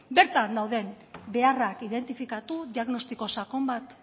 bertan dauden beharrak identifikatu diagnostiko sakon bat